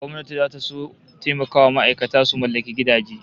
Gwamnati zata son taimakawa ma'aikata su mallaki gidaje